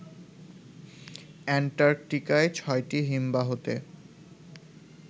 এন্টার্কটিকায় ছটি হিমবাহতে